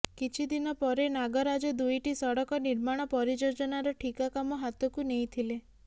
କିିଛିଦିନ ପରେ ନାଗରାଜ ଦୁଇଟି ସଡ଼କ ନିର୍ମାଣ ପରିଯୋଜନାର ଠିକା କାମ ହାତକୁ ନେଇଥିଲେ